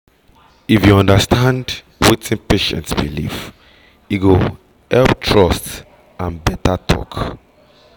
if you understand wetin patient believe e go help trust and better talk